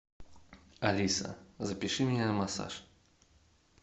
алиса запиши меня на массаж